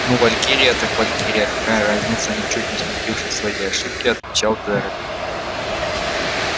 ну валькирия так валькирия какая разница ничуть не смутившись своей ошибки отвечал джералд